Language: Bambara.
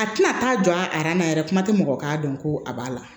A tɛna taa jɔ a na yɛrɛ kuma tɛ mɔgɔ k'a dɔn ko a b'a la